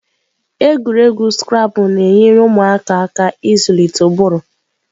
Egwuregwu Scrabble na-enyere ụmụaka aka ịzụlite ụbụrụ.